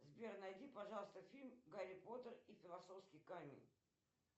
сбер найди пожалуйста фильм гарри поттер и философский камень